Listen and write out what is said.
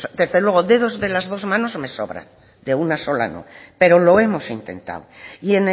desde luego dedos de las dos manos me sobran de una sola no pero lo hemos intentado y